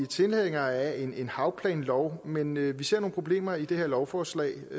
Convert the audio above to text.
tilhængere af en havplanlov men vi ser nogle problemer i det her lovforslag